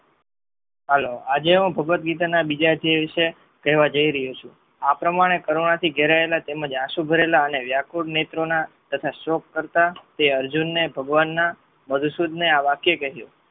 હાલો આજે હું ભાગવત ગીતા ના બીજા અધ્યાય વિષે કેહવા જય રહ્યો છું આ પ્રમાણે કરવાથી ઘેરાયેલા અને આસું ભરાયેલા વ્યાકુળ નેત્ર ના તથા શોક કરતા તે અર્જુન ને ભગવાન ના મધુસુદને આ વાક્ય કહ્યું